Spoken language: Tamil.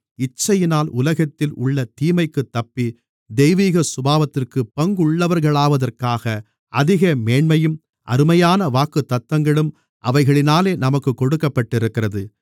இச்சையினால் உலகத்தில் உள்ள தீமைக்குத் தப்பி தெய்வீக சுபாவத்திற்குப் பங்குள்ளவர்களாவதற்காக அதிக மேன்மையும் அருமையான வாக்குத்தத்தங்களும் அவைகளினாலே நமக்குக் கொடுக்கப்பட்டிருக்கிறது